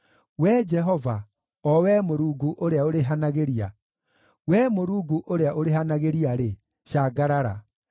Wee Jehova, o Wee Mũrungu ũrĩa ũrĩhanagĩria, Wee Mũrungu ũrĩa ũrĩhanagĩria-rĩ, cangarara.